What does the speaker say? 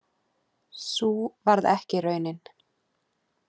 Sú varð ekki raunin